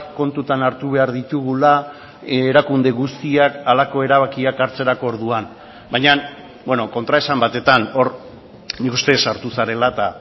kontutan hartu behar ditugula erakunde guztiak halako erabakiak hartzerako orduan baina kontraesan batetan hor nik uste sartu zarela eta